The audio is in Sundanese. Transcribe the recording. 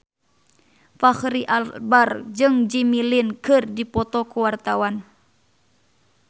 Fachri Albar jeung Jimmy Lin keur dipoto ku wartawan